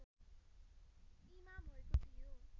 इमा भएको थियो